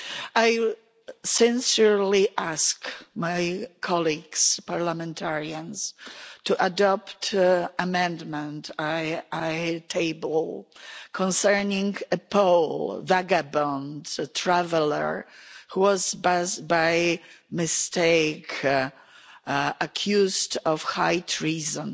I sincerely ask my colleagues parliamentarians to adopt the amendment I tabled concerning a Pole, a vagabond, a traveller, who was by mistake accused of high treason